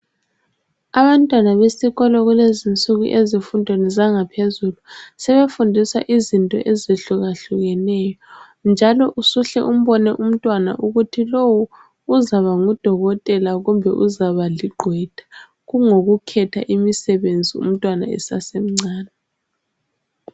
Abantwana besikolo kulezinsuku ezifundweni zangaphezulu sebefundiswa izinto ezihlukahlukeneyo. Njalo usuhle umbone umntwana ukuthi lowu uzaba ngudokotela, kumbe uzaba ligqwetha kungokukhetha imisebenzi umntwana esesemncane.